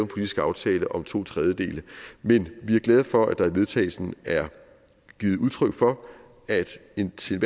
politisk aftale om to tredjedele men vi er glade for at der i vedtagelse er givet udtryk for at den til